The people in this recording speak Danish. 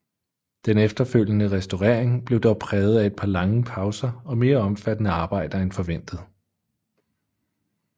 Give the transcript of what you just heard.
Den efterfølgende restaurering blev dog præget af et par lange pauser og mere omfattende arbejder end forventet